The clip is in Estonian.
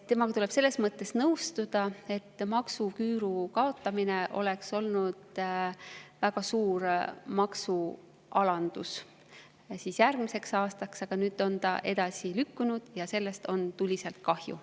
Temaga tuleb selles mõttes nõustuda, et maksuküüru kaotamine oleks tähendanud väga suurt maksualandust järgmiseks aastaks, aga nüüd on see edasi lükkunud ja sellest on tuliselt kahju.